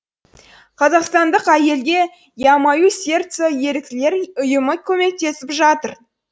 қазақстандық әйелге я маю серце еріктілер ұйымы көмектесіп жатыр